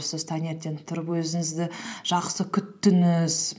сіз таңертең тұрып өзіңізді жақсы күттіңіз